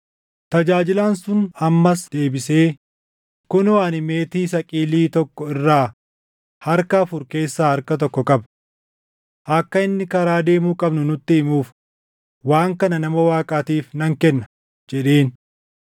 Tajaajilaan sun ammas deebisee, “Kunoo ani meetii saqilii tokko irraa harka afur keessaa harka tokko qaba. Akka inni karaa deemuu qabnu nutti himuuf waan kana nama Waaqaatiif nan kenna” jedheen.